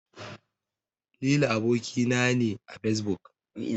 Lili aboki na ne a Fesbuk.